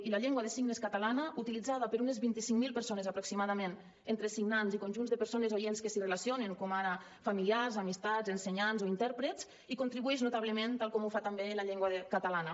i la llengua de signes catalana utilitzada per unes vint cinc mil persones aproximadament entre signants i conjunts de persones oients que s’hi relacionen com ara familiars amistats ensenyants o intèrprets hi contribueix notablement tal com ho fa també la llengua catalana